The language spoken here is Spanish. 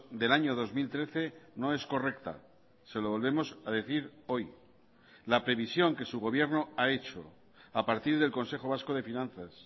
del año dos mil trece no es correcta se lo volvemos a decir hoy la previsión que su gobierno ha hecho a partir del consejo vasco de finanzas